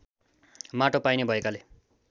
माटो पाइने भएकाले